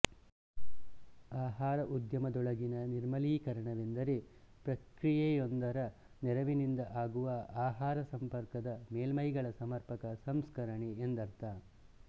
ಆಹಾರ ಉದ್ಯಮದೊಳಗಿನ ನಿರ್ಮಲೀಕರಣವೆಂದರೆ ಪ್ರಕ್ರಿಯೆಯೊಂದರ ನೆರವಿನಿಂದ ಆಗುವ ಆಹಾರಸಂಪರ್ಕದ ಮೇಲ್ಮೈಗಳ ಸಮರ್ಪಕ ಸಂಸ್ಕರಣೆ ಎಂದರ್ಥ